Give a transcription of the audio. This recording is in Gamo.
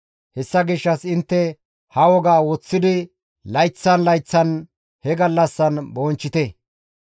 Hessa gishshas intte ha wogaa woththidi layththan layththan ha gallassan bonchchite.